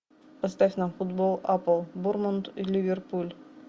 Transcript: поставь нам футбол апл борнмут и ливерпуль